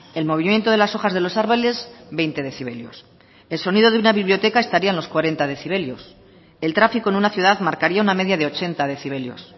el movimiento de las hojas de los árboles veinte decibelios el sonido de una biblioteca estaría en los cuarenta decibelios el tráfico en una ciudad marcaria una media de ochenta decibelios